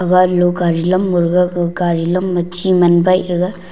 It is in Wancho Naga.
garilo gari lam gag go gari lam ma chi man waih taga.